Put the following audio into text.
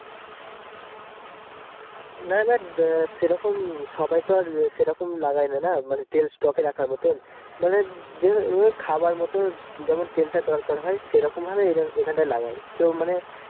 না এবার আহ সেরকম সবাই তো এবার সেইরকম লাগাইনা মানে তেল stock এ রাখার মতো মানে যে এ খাবার মতো যেমন তেল তা দরকার হয় সেইরকম ভাবে এইরকএইখানটাই লাগাই তো মানে